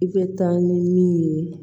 I bɛ taa ni min ye